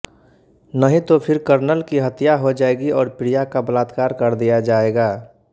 नहीं तो फिर कर्नल की हत्या हो जाएगी और प्रिया का बलात्कार कर दिया जाएगा